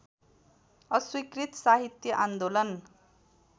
अस्वीकृत साहित्य आन्दोलन